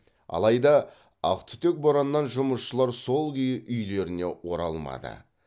алайда ақтүтек бораннан жұмысшылар сол күйі үйлеріне оралмады